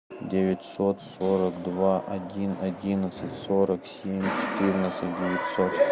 девятьсот сорок два один одиннадцать сорок семь четырнадцать девятьсот